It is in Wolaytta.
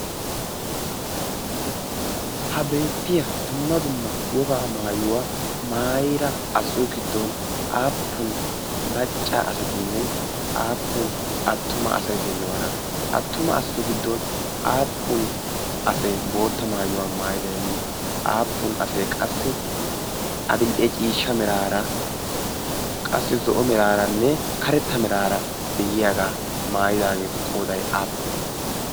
ha beettiya dumma dumma wogaa maayuwaa maayira asatu giddon aappun macca asatinne aappun attuma asaiy deyiyoona attuma asatu giddon aappun asee bootta maayuwaa maayidainne aappun asee qassi adil'e ciishsha miraara qassi zo'o miraaranne karetta miraara de'iyaagaa maayidaageetu qoday aappune?